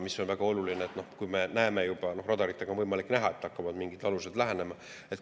See on väga oluline, kui me näeme juba – radaritega on võimalik näha –, et hakkavad mingid alused lähenema.